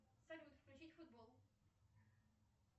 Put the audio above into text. салют включить футбол